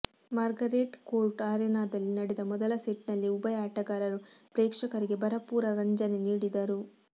Margaret Court ಅರೆನಾದಲ್ಲಿ ನಡೆದ ಮೊದಲ ಸೆಟ್ನಲ್ಲೇ ಉಭಯ ಆಟಗಾರರು ಪ್ರೇಕ್ಷಕರಿಗೆ ಭರಪೂರ ರಂಜನೆ ನೀಡಿದರು